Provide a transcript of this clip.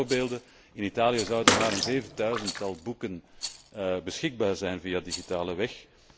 Een paar voorbeelden In Italië zouden maar een zevenduizendtal boeken beschikbaar zijn via digitale weg.